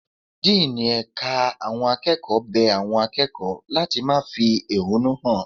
Díínì ẹ̀ka àwọn akẹ́kọ̀ọ́ bẹ àwọn akẹ́kọ̀ọ́ láti má fi ehúnú hàn.